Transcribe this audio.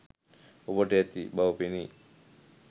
ඔබට ඇති බව පෙනේ